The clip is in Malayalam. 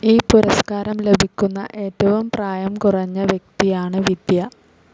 ഈ പുരസ്ക്കാരം ലഭിക്കുന്ന ഏറ്റവും പ്രായം കുറഞ്ഞ വ്യക്തിയാണ് വിദ്യ.